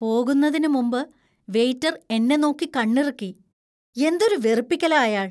പോകുന്നതിനുമുമ്പ് വെയിറ്റർ എന്നെ നോക്കി കണ്ണിറുക്കി. എന്തൊരു വെറുപ്പിക്കലാ അയാൾ .